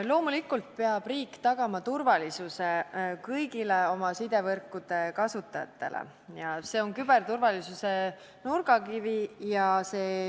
Loomulikult peab riik tagama turvalisuse kõigile oma sidevõrkude kasutajatele – see on küberturvalisuse nurgakivi.